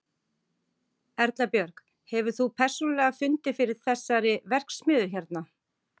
Erla Björg: Hefur þú persónulega fundið fyrir þessari verksmiðju hérna?